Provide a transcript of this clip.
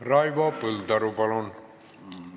Raivo Põldaru, palun!